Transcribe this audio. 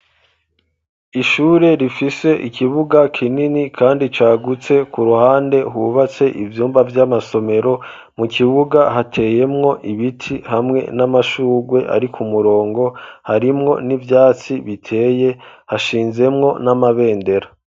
Ishure rifise ikibuga kinini kandi cagutse, ku ruhande hubatse ivyumba vy'amasomero, mu kibuga hateyemwo ibiti hamwe n'amashurwe ari k'umurongo, harimwo n'ivyatsi biteye, hashinzemwo n'amabendera.